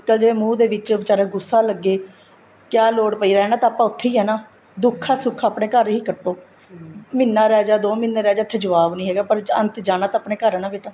ਨਿੱਕਲ ਜਵੇ ਮੂੰਹ ਦੇ ਵਿੱਚ ਬੀਚਾਰੇ ਨੂੰ ਗੂੱਸਾ ਲੱਗੇ ਕਿਆ ਲੋੜ ਪਈ ਹੈ ਰਹਿਣਾ ਤਾਂ ਆਪਾਂ ਉੱਥੇ ਹੀ ਆ ਨਾ ਦੁੱਖ ਆ ਸੁੱਖ ਆ ਆਪਣੇ ਘਰ ਹੀ ਕੱਟੋ ਮਹੀਨਾ ਰਹਿ ਗਿਆ ਦੋ ਮਹੀਨੇ ਰਹੇ ਗਏ ਇੱਥੇ ਜੁਆਬ ਨਹੀਂ ਹੈਗਾ ਪਰ ਅੰਤ ਜਾਣਾ ਤਾਂ ਆਪਣੇ ਘਰ ਹੀ ਏ ਬੇਟਾ